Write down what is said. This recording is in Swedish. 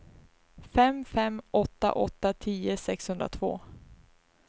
fem fem åtta åtta tio sexhundratvå